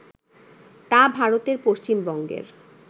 তা ভারতের পশ্চিম বঙ্গের